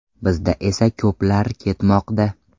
Bizda esa ko‘plar ketmoqda.